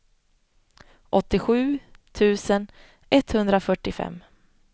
åttiosju tusen etthundrafyrtiofem